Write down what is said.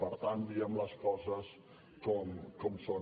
per tant diguem les coses com són